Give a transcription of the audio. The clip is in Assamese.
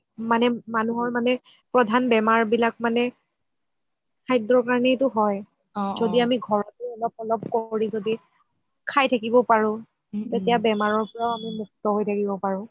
মানে মানুহৰ মানে প্ৰধান বেমাৰ বিলাক মানে খাদ্য কাৰণেইটো হয় য্দি আমি ঘৰতে অলপ অলপ কৰি য্দি খাই থাকিব পাৰো তেতিয়া আমি বেমাৰৰ পৰাও মুক্ত্য হয় থাকিব পাৰো